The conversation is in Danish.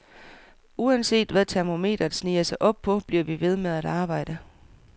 Uanset hvad termometeret sniger sig op på, bliver vi ved med at arbejde.